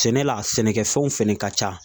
Sɛnɛ la sɛnɛkɛfɛnw fɛnɛ ka ca